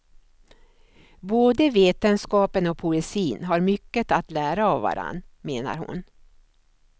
Både vetenskapen och poesin har mycket att lära av varann, menar hon.